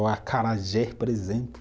Ou acarajé, por exemplo.